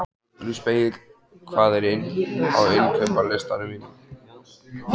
Ugluspegill, hvað er á innkaupalistanum mínum?